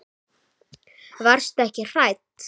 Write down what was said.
Varstu ekki hrædd?